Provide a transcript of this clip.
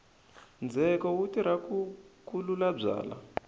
ndzheko wu tirha ku kelula byalwa